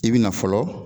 I bi na fɔlɔ